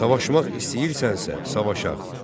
Savaşmaq istəyirsənsə, savaşağ.